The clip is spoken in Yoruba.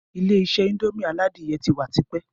Ilé-isé indomie aládìyẹ ti wà tipẹ́